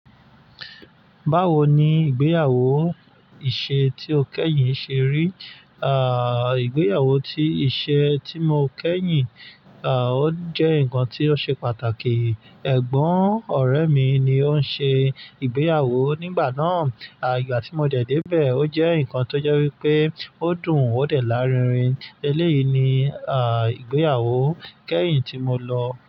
Báwo ni ìgbéyàwó ìṣe tí o kẹ́yìn ṣe rí? À, ìgbéyàwó tí ìṣe tí mo kẹ́yìn, à, ó jẹ́ nǹkan tí ó ṣe pàtàkì. Ẹ̀gbọ́n ọ̀rẹ́ mi ni ó ń ṣe ìgbéyàwó nígbà náà. À, ìgbà tí mo dẹ̀ dé bẹ̀, o jẹ́ nǹkan tó jẹ́ wípé ó dùn ó dẹ̀ lárinrin. Eléyìí ni, à, ìgbéyàwó kẹ́yìn tí mo lọ.